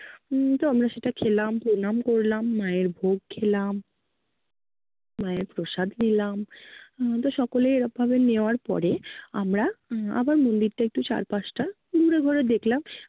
উম তো আমরা সেটা খেলাম, প্রণাম করলাম, মায়ের ভোগ খেলাম। মায়ের প্রসাদ নিলাম। আহ তো সকলেই এরম ভাবে নেয়ার পরে আমরা আহ আবার মন্দিরটা চারপাশ টা ঘুরে ঘুরে দেখলাম